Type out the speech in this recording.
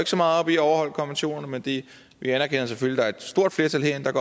så meget op i at overholde konventionerne men vi vi anerkender selvfølgelig er et stort flertal herinde